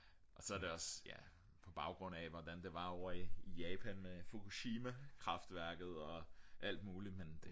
og så er det også ja på baggrund af hvordan det var ovre i Japan med Fugoshimakraftværket og alt muligt men